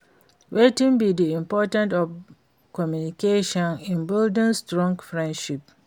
Wetin be di importance of communication in building strong friendship?